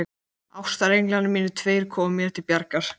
Ástarenglarnir mínir tveir koma mér til bjargar.